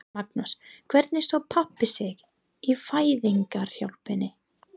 Magnús: Hvernig stóð pabbi sig í fæðingarhjálpinni?